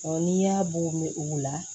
n'i y'a bugun u la